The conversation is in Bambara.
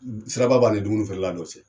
Sira ba b'a ni dumuni feere la dɔ cɛ.